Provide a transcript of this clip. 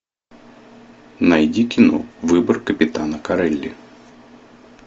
найди кино выбор капитана корелли